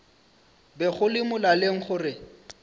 be go le molaleng gore